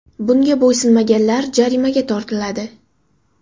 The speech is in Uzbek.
Bunga bo‘ysunmaganlar jarimaga tortiladi.